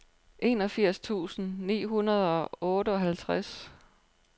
enogfirs tusind ni hundrede og otteoghalvtreds